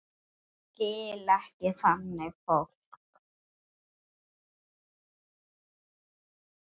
Skil ekki þannig fólk.